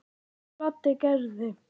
Þetta gladdi Gerði.